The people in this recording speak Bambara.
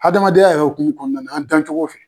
Adamadenya yɛrɛ hokumu kɔnɔna na, an dancogo fɛ